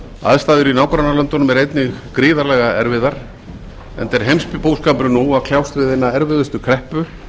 aðstæður í nágrannalöndunum eru einnig gríðarlega erfiðar enda er heimsbúskapurinn nú að kljást við hina erfiðustu kreppu